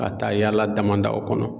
Ka taa yala dama daw kɔnɔ